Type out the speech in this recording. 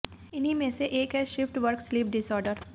इन्हीं में से एक है शिफ्ट वर्क स्लीप डिसऑर्डर